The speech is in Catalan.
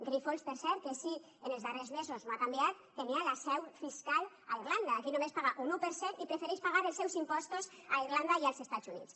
grifols per cert que si en els darrers mesos no ha canviat tenia la seu fiscal a irlanda aquí només paga un un per cent i prefereix pagar els seus impostos a irlanda i als estats units